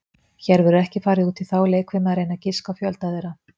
Hér verður ekki farið út í þá leikfimi að reyna að giska á fjölda þeirra.